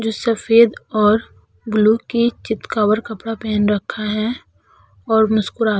जो सफेद और ब्लू की चितकबर कपड़ा पहन रखा है और मुस्कुरा --